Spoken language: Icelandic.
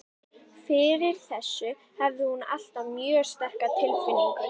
Fyrir þessu hafði hún alltaf mjög sterka tilfinningu.